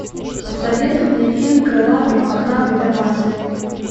посоветуй мне фильм крылатый мохнатый да масляный